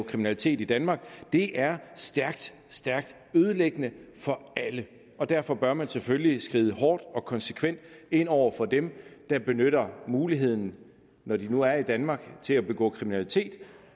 kriminalitet i danmark det er stærkt stærkt ødelæggende for alle og derfor bør man selvfølgelig skride hårdt og konsekvent ind over for dem der benytter muligheden når de nu er i danmark til at begå kriminalitet